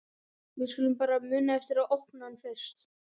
Við skulum bara muna eftir að opna hann fyrst!